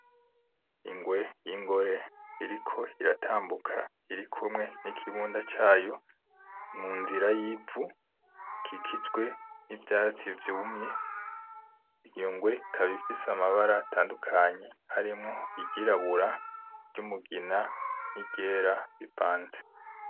Ingwe yingore iriko iratambuka, irikumwe nikibunda cayo munzira yivu ikikijwe nivyatsi vyumye , iyo ngwe ikaba ifise amabara atandukanye harimwo iryirabura, iryumugina niryera bivanze.